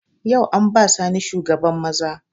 Yau an ba Sani shugaban maza